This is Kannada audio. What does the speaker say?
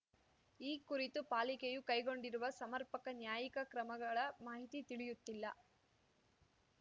ಈ ಕುರಿತು ಪಾಲಿಕೆಯು ಕೈಗೊಂಡಿರುವ ಸಮರ್ಪಕ ನ್ಯಾಯಿಕ ಕ್ರಮಗಳ ಮಾಹಿತಿ ತಿಳಿಯುತ್ತಿಲ್ಲ